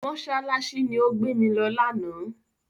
Mọ́ṣáláṣí ni ó gbé mi lọ lánàá.